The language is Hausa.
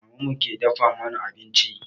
Maman mu ke dafa mana abinci